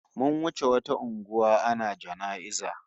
Mun wuce wata unguwa ana jana'iza